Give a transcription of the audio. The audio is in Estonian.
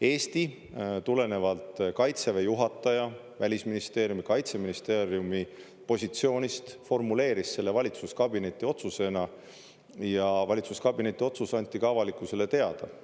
Eesti tulenevalt Kaitseväe juhataja, Välisministeeriumi, Kaitseministeeriumi positsioonist formuleeris selle valitsuskabineti otsusena ja valitsuskabineti otsus anti ka avalikkusele teada.